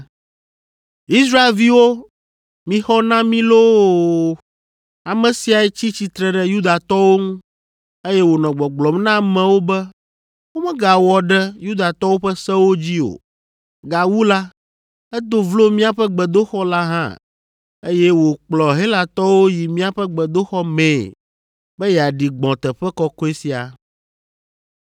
“Israelviwo, mixɔ na mí loo! Ame siae tsi tsitre ɖe Yudatɔwo ŋu, eye wònɔ gbɔgblɔm na amewo be womegawɔ ɖe Yudatɔwo ƒe sewo dzi o. Gawu la, edo vlo míaƒe gbedoxɔ la hã, eye wòkplɔ Helatɔwo yi míaƒe gbedoxɔ mee be yeaɖi gbɔ̃ teƒe kɔkɔe sia.”